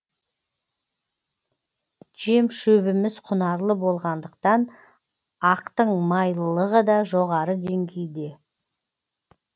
жем шөбіміз құнарлы болғандықтан ақтың майлылығы да жоғары деңгейде